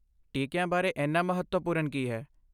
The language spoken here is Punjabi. ਟੀਕਿਆਂ ਬਾਰੇ ਇੰਨਾ ਮਹੱਤਵਪੂਰਨ ਕੀ ਹੈ?